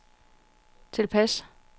tilpas